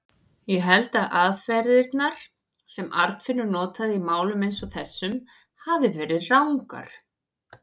Ég held að aðferðirnar, sem Arnfinnur notaði í málum eins og þessum, hafi verið rangar.